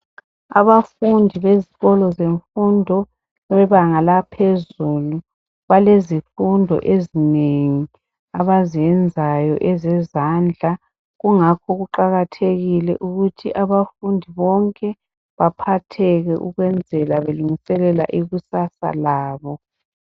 Abafundi bezikolo zemfundo bebanga lahezulu balezifundo ezinengi abazenzayo ezemisebenzi yezandla kungakho kuqakathekile ukuthi abafundi bonke baphatheke ukwenzeka belungiselela ikusasa labo.